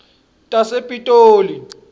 tasepitoli